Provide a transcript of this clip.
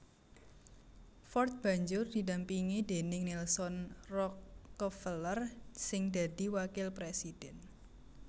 Ford banjur didampingi déning Nelson Rockefeller sing dadi wakil présidhèn